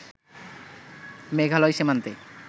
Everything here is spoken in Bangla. মেঘালয় সীমান্তে